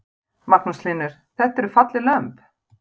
Magnús Hlynur: Þetta eru falleg lömb?